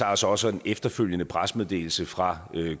altså også en efterfølgende pressemeddelelse fra